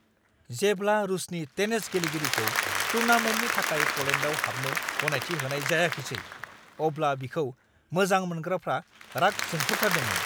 जेब्ला रूसनि टेनिस गेलेगिरिखौ टूर्नामेन्टनि थाखाय पलेन्डआव हाबनो गनायथि होनाय जायाखिसै, अब्ला बिखौ मोजां मोनग्राफ्रा राग जोंफ्रुथारदोंमोन।